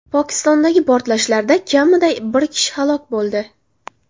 Pokistondagi portlashlarda kamida bir kishi halok bo‘ldi.